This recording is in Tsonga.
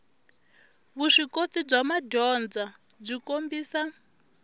vuswikoti bya madyondza byi kombisa